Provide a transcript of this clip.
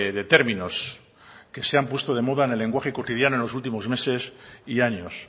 de términos que se han puesto de moda en el lenguaje cotidiano en los últimos meses y años